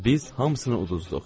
Biz hamısını uduzduq.